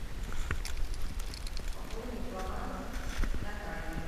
пополнить баланс натальи